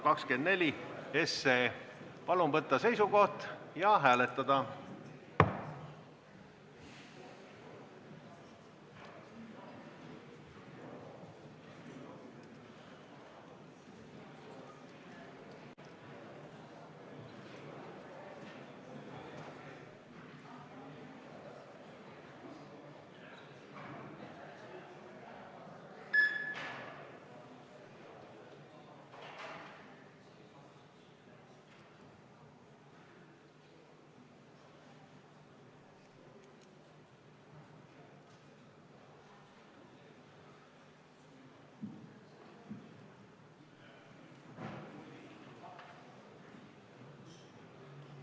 Palun võtta seisukoht ja hääletada!